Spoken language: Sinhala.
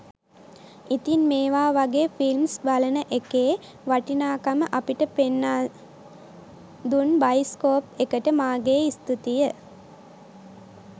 ඉතින් මේවා වගේ ෆිල්ම්ස් බලන එකේ වටිනාකම අපට පෙන්නා දුන් බයිස්කෝප් එකට මාගේ ඉස්තූතිය